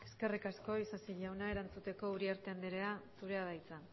eskerrik asko eskerrik asko isasi jauna erantzuteko uriarte andrea zurea da hitza